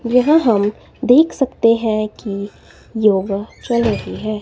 यह हम देख सकते हैं की योगा चल रही है।